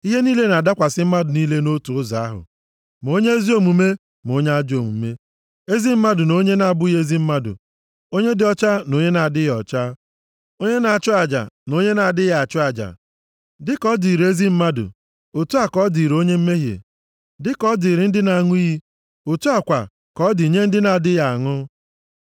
Ihe niile na-adakwasị mmadụ niile nʼotu ụzọ ahụ, ma onye ezi omume ma onye ajọ omume, ezi mmadụ na onye na-abụghị ezi mmadụ, onye dị ọcha na onye na-adịghị ọcha, onye na-achụ aja na onye na-adịghị achụ aja. Dịka ọ dịrị ezi mmadụ, otu a ka ọ dịrị onye mmehie; dịka ọ dịrị ndị na-aṅụ iyi, otu a kwa ka ọ dị nye ndị na-adịghị aṅụ.